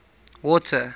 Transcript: water